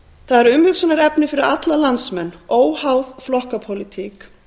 það er umhugsunarefni fyrir alla landsmenn óháð flokkapólitík